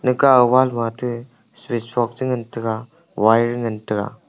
ga wall wa te switchbox che ngan tega wire ngan tega.